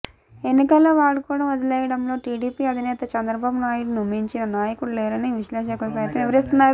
ఎన్నికల్లో వాడుకోవడం వదిలేయడంలో టీడీపీ అధినేత చంద్రబాబునాయుడును మించిన నాయకుడు లేరని విశ్లేషకులు సైతం వివరిస్తున్నారు